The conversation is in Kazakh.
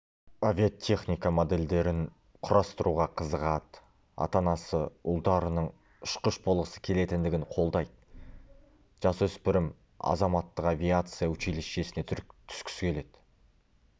авиатехника модельдерін құрастыруға қызығады ата-анасы ұлдарының ұшқыш болғысы келетіндігін қолдайды жасөспірім азаматтық авиация училищесіне түскісі келеді